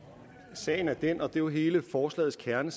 sagen er den og det er jo hele forslagets kerne